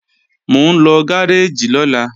Mò ń lọ gáréèjì lọ́la